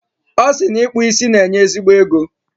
Ọ sị na ịkpụ isi na-enye ezigbo ego.